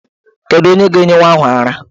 Kedu onye ga-enye nwa ahụ ara?